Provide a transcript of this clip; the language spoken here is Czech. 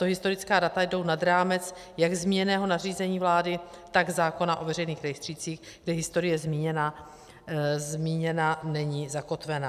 Tato historická data jdou nad rámec jak zmíněného nařízení vlády, tak zákona o veřejných rejstřících, kde historie zmíněna není, zakotvena.